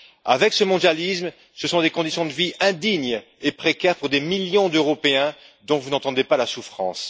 Avec ce mondialisme, ce sont des conditions de vie indignes et précaires pour des millions d'Européens dont vous n'entendez pas la souffrance.